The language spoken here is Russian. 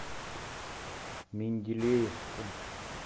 менделеевску